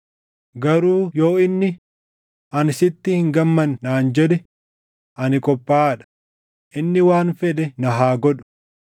Garuu yoo inni, ‘Ani sitti hin gammanne’ naan jedhe, ani qophaaʼaa dha; inni waan fedhe na haa godhu.”